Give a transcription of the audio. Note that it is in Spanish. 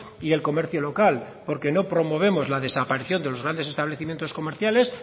y el comercio local porque no promovemos la desaparición de los grandes establecimientos comerciales